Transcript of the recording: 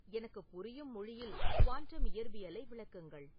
எனக்கு புரியும் மொழியில் குவாண்டம் இயற்பியலை விளக்குங்கள்